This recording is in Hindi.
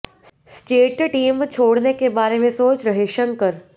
स्टेट टीम छोड़ने के बारे में सोच रहे शंकर